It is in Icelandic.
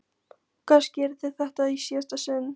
Og kannski yrði þetta í síðasta sinn.